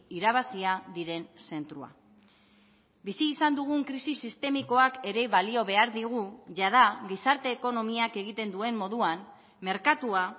irabazia diren zentroa bizi izan dugun krisi sistemikoak ere balio behar digu jada gizarte ekonomiak egiten duen moduan merkatua